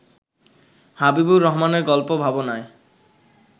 হাবিবুর রহমানের গল্প ভাবনায়